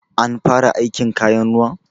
An fara aikin kayan ruwan?